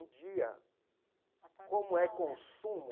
Um dia, como é consumo,